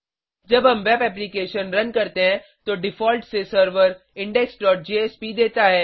जब हम web application run करते हैं तो डिफ़ॉल्ट से सर्वर indexजेएसपी देता है